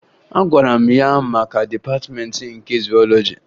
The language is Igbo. Agwara m ya maka Dịpatịmeentị nke Zuwọlọji